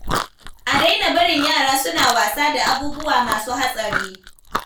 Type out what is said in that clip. A daina barin yara suna wasa da abubuwa masu hatsari.